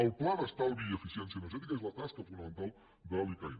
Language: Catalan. el pla d’estalvi i eficiència energètica és la tasca fonamental de l’icaen